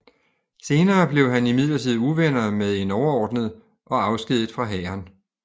Senere blev han imidlertid uvenner med en overordnet og afskediget fra hæren